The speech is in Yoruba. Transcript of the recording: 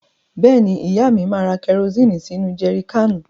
Bẹ́ẹ̀ni, ìyá mi máa ra kẹrosíìnì sínú jẹri káànù.